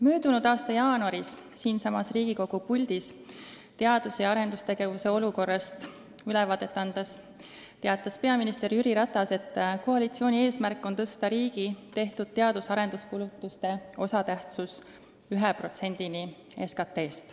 Möödunud aasta jaanuaris siinsamas Riigikogu puldis teadus- ja arendustegevuse olukorrast ülevaadet andes teatas peaminister Jüri Ratas, et koalitsiooni eesmärk on tõsta riigi tehtud teadus- ja arenduskulutuste osatähtsus 1%-ni SKT-st.